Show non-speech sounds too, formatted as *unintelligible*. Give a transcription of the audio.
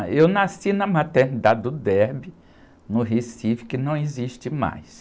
Ah, eu nasci na maternidade do, *unintelligible* no Recife, que não existe mais.